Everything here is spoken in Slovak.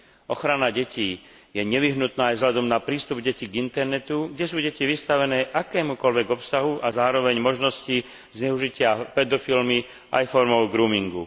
Ochrana detí je nevyhnutná aj vzhľadom na prístup detí k internetu, kde sú deti vystavené akémukoľvek obsahu a zároveň možnosti zneužitia pedofilmi aj formou groomingu.